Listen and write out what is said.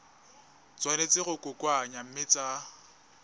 tshwanetse go kokoanngwa mme tsa